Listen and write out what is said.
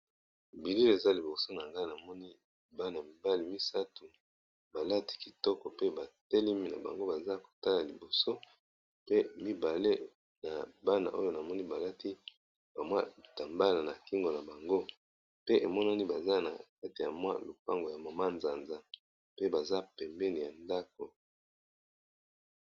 Bilili eza liboso nangai Bana mibali misatu balati kitoko pe batelemi nabango pe mibale na Bana balati kitambala na kingo na bango na bango pe emonani baza na kati ya lopango ya manzanza pe baza penepene ya ndako.